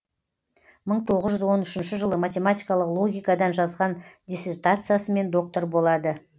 мың тоғыз жүз он үшінші жылы математикалық логикадан жазған диссертациясымен доктор болады